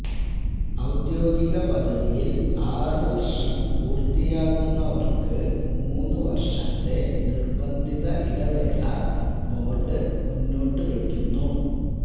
ഔദ്യോഗിക പദവിയില് ആറു വര്ഷം പൂര്ത്തിയാകുന്നവര്ക്ക് മൂന്ന് വര്ഷത്തെ നിര്ബന്ധിത ഇടവേള ബോര്ഡ് മുന്നോട്ടുവെയ്ക്കുന്നു